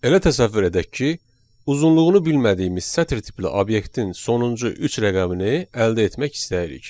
Elə təsəvvür edək ki, uzunluğunu bilmədiyimiz sətir tipli obyektin sonuncu üç rəqəmini əldə etmək istəyirik.